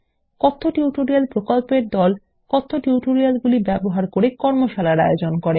কথ্য টিউটোরিয়াল প্রকল্প দল কথ্য টিউটোরিয়ালগুলি ব্যবহার করে কর্মশালার আয়োজন করে